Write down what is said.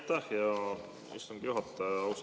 Aitäh, hea istungi juhataja!